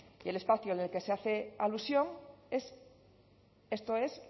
el espacio al que se hace alusión esto es